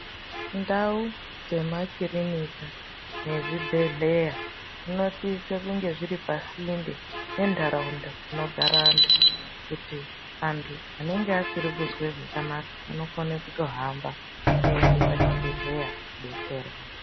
Ndau dzemakirinika nezvibhedhleya dzinosise kunge zviri pasinde ngentaraunda dzinogare antu kuti antu anenge asiri kuzwe zvakanaka anokone kutohamba eienda pachibhedhleya kuodetserwa.